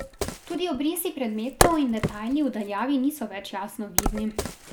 Tudi obrisi predmetov in detajli v daljavi niso več jasno vidni.